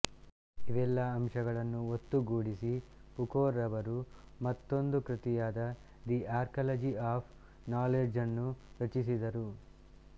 ಇವೆಲ್ಲ ಅಂಶಗಳನ್ನು ಒತ್ತುಗೂಡಿಸಿ ಫುಕೋರವರು ಮತ್ತೊಂದು ಕೃತಿಯಾದ ದಿ ಆರ್ಕ್ಯಾಲಜಿ ಆಪ್ ನಾಲೆಡ್ಜನ್ನು ರಚಿಸಿದರು